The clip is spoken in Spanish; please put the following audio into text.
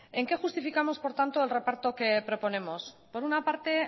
en qué justificamos por tanto el reparto que proponemos por una parte